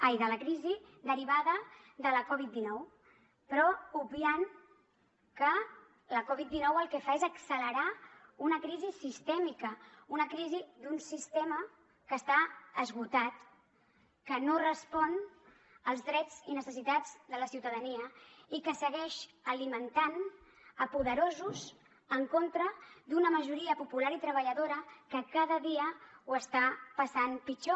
ai de la crisi derivada de la covid dinou però obviant que la covid dinou el que fa és accelerar una crisi sistèmica una crisi d’un sistema que està esgotat que no respon als drets i necessitats de la ciutadania i que segueix alimentant poderosos en contra d’una majoria popular i treballadora que cada dia ho està passant pitjor